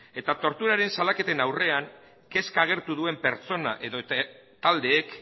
eta torturaren salaketen aurrean kezka agertu duen pertsona edota taldeek